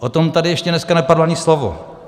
O tom tady ještě dneska nepadlo ani slovo.